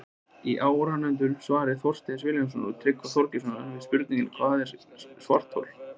Í áðurnefndu svari Þorsteins Vilhjálmssonar og Tryggva Þorgeirssonar við spurningunni Hvað er svarthol?